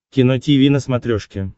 кино тиви на смотрешке